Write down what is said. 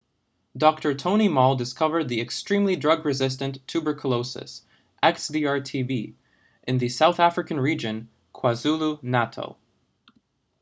dr. tony moll discovered the extremely drug resistant tuberculosis xdr-tb in the south african region kwazulu-natal